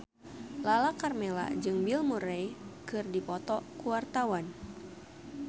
Lala Karmela jeung Bill Murray keur dipoto ku wartawan